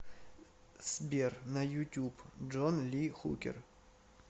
сбер на ютуб джон ли хукер